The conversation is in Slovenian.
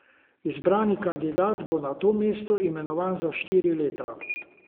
Izbrani kandidat bo na to mesto imenovan za štiri leta.